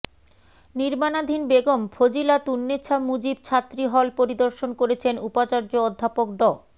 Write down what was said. নির্মাণাধীন বেগম ফজিলাতুন্নেছা মুজিব ছাত্রীহল পরিদর্শন করেছেন উপাচার্য অধ্যাপক ড